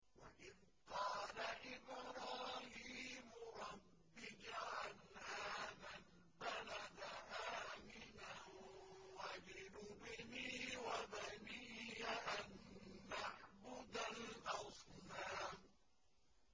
وَإِذْ قَالَ إِبْرَاهِيمُ رَبِّ اجْعَلْ هَٰذَا الْبَلَدَ آمِنًا وَاجْنُبْنِي وَبَنِيَّ أَن نَّعْبُدَ الْأَصْنَامَ